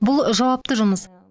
бұл жауапты жұмыс